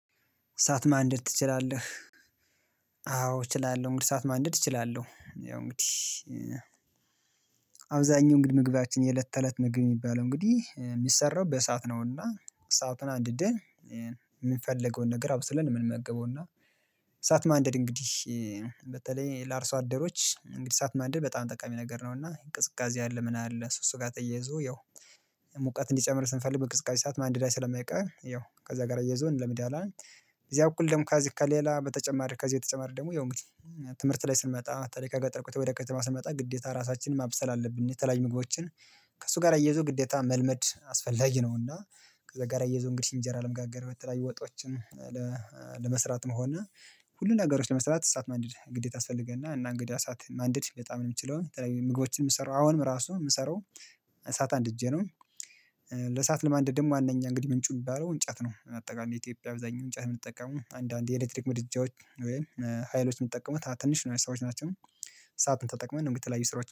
እሳት ማንደድ ትችላለህ? አዎ እችላለሁ እንግዲህ እሳት ማንደድ እችላለሁ ያው እንግዲህ አብዛኛው እንግዲህ ምግባችን የለት ተለት ምግብ የሚባለው እንግዲህ የሚሰራው በእሳት ነውና እሳቱን አንድደን የምንፈልገውን ነገር አብስለን የምንመገበው እና እሳት ማንደድ እንግዲህ በተለይ ለአርሶ አደሮች እንግዲህ እሳት ማደር በጣም ጠቃሚ ነገር ነው እና ቅዝቃዜ አለ ምን አለ እሱ እሱ ጋር ተያይዞ ያው ሙቀት እንዲጨምር ስንፈልግ በቅዝቃዜ ሰዓት ማንደድህ ስለማይቀር ያው ከዛ ጋር አያይዞ ለመዳለም እዚያ በኩል ደግሞ ከዚህ ከሌላ በተጨማሪ ከዚህ ተጨማሪ ደግሞ ያው እንግዲህ ትምህርት ላይ ስንመጣ በተለይ ከገጠር ወደ ከተማ ስንመጣ ግዴታ ራሳችንን ማብሰል አለብን የተለያዩ ምግቦችን ከእሱ ጋር አያይዞ ግዴታ መልመድ አስፈላጊ ነው እና ከዛጋራ አያይዞ እንግዲህ እንጀራ ለመጋገር በተለያዩ ወጦችን ለመስራትም ሆነ ሁሉ ነገሮች ለመስራት እሳት ማንደድ ግዴታ ያስፈልገና እና እንግዲህ እሳት ማንደድር በጣም የምችለውን በተለይ ምግቦችን የምሰራው አሁንም ራሱ የምሰራው እሳት አንድ እጄ ነው ለእሳት ለማንደድም ዋናኛ እንግዲህ ምንጩ የሚባለው እንጨት ነው አጠቃላይ ኢትዮጵያ በአዛኛው እንጨት የምንጠቀመው አንዳንዴ የኤሌክትሪክ ምድጃዎች ወይም ሀይሎች የምንጠቀመው ትንሽ ነው የሰዎች ናቸው። ሰዓትን ተጠቅመን እንዲ የተለያዩ ስራዎች